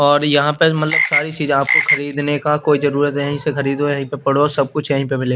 और यहां पर मतलब सारी चीजें आपको खरीदने का कोई जरूरत यहीं से खरीदो यहीं पे पढ़ो सब कुछ यहीं पे मिले--